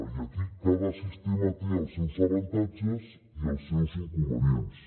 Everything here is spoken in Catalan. i aquí cada sistema té els seus avantatges i els seus inconvenients